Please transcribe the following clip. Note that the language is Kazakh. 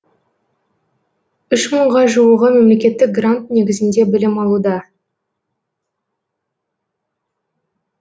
үш мыңға жуығы мемлекеттік грант негізінде білім алуда